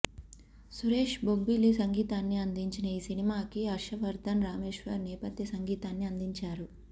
సురేష్ బొబ్బిలి సంగీతాన్ని అందించిన ఈ సినిమాకి హర్షవర్ధన్ రామేశ్వర్ నేపధ్య సంగీతాన్ని అందించారు